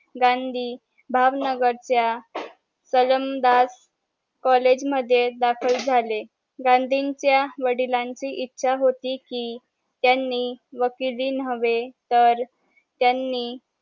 गांधी भावनगर च्या कलंडास कॉलेज मध्ये दाखल झाले गद्न्हीच्या वडिलांची इच्छा होती कि त्यांनी वकिली नव्हे तर त्यांनी